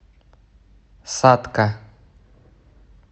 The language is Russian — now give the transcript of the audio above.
сатка